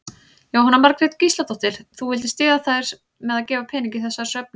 Jóhanna Margrét Gísladóttir: Þú vildir styðja þær með að gefa pening í þessa söfnun?